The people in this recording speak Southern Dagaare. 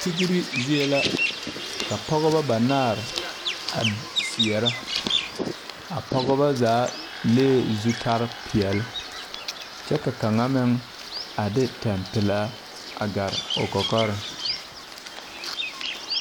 Tigri zie la ka pɔgeba banaare a zeɛra a pɔgeba zaa lee zutarepeɛle kyɛ ka kaŋa meŋ a de tampelaa a gare o kɔkɔre.